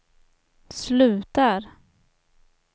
slutar